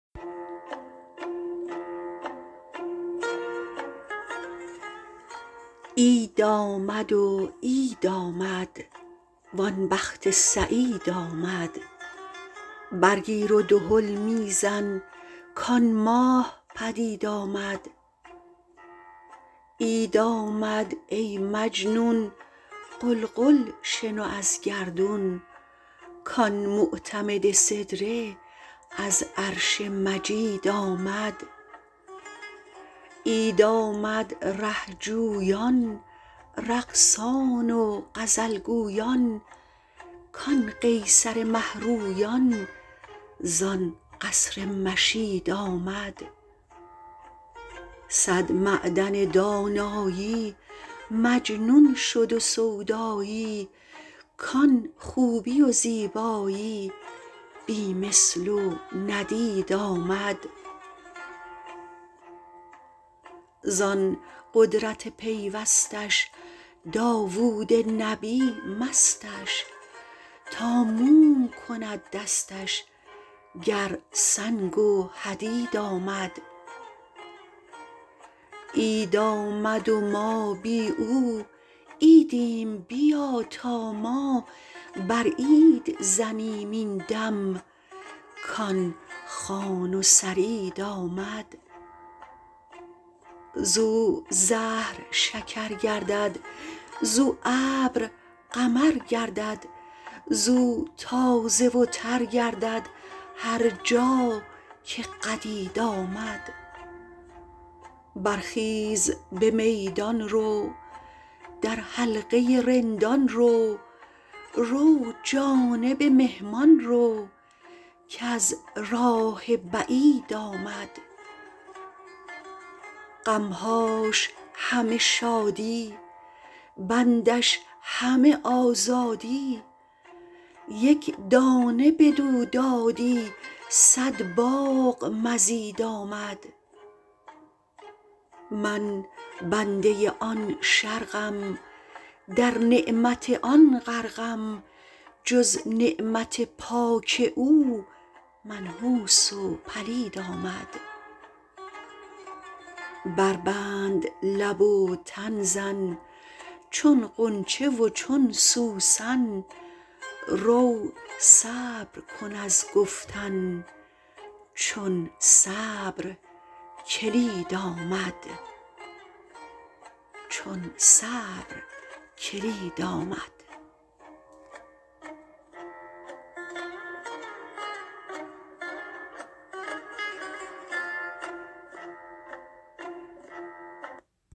عید آمد و عید آمد وان بخت سعید آمد برگیر و دهل می زن کآن ماه پدید آمد عید آمد ای مجنون غلغل شنو از گردون کآن معتمد سدره از عرش مجید آمد عید آمد ره جویان رقصان و غزل گویان کآن قیصر مه رویان زان قصر مشید آمد صد معدن دانایی مجنون شد و سودایی کآن خوبی و زیبایی بی مثل و ندید آمد زان قدرت پیوستش داوود نبی مستش تا موم کند دستش گر سنگ و حدید آمد عید آمد و ما بی او عیدیم بیا تا ما بر عید زنیم این دم کآن خوان و ثرید آمد زو زهر شکر گردد زو ابر قمر گردد زو تازه و تر گردد هر جا که قدید آمد برخیز به میدان رو در حلقه رندان رو رو جانب مهمان رو کز راه بعید آمد غم هاش همه شادی بندش همه آزادی یک دانه بدو دادی صد باغ مزید آمد من بنده آن شرقم در نعمت آن غرقم جز نعمت پاک او منحوس و پلید آمد بربند لب و تن زن چون غنچه و چون سوسن رو صبر کن از گفتن چون صبر کلید آمد